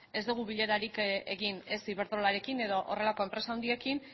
ez dugu bilerarik egin ez iberdrolarekin edo horrelako enpresa handiekin